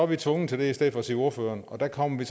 vi tvunget til det i stedet for at sige ordføreren og der kommer vi